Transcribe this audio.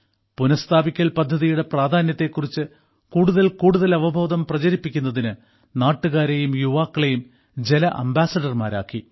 പുനഃസ്ഥാപിക്കൽ പദ്ധതിയുടെ പ്രാധാന്യത്തെക്കുറിച്ച് കൂടുതൽ കൂടുതൽ അവബോധം പ്രചരിപ്പിക്കുന്നതിന് നാട്ടുകാരെയും യുവാക്കളെയും ജല അംബാസഡർമാരാക്കി